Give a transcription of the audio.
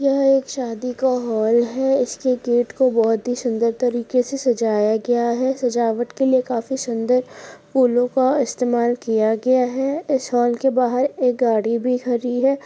यह एक शादी का हॉल है इसके गेट को बहोत ही सुंदर तरीके से सजाया गया है सजावट के लिए काफी सुंदर फूलों का इस्तेमाल किया गया है इस हॉल के बाहर एक गाड़ी भी खड़ी है।